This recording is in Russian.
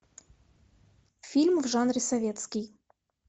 фильм в жанре советский